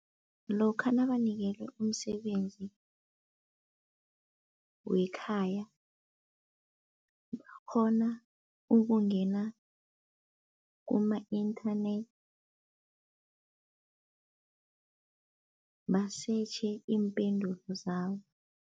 Lokha nabanikelwe umsebenzi wekhaya bakghona ukungena kuma-internet basetjhe iimpendulo zabo.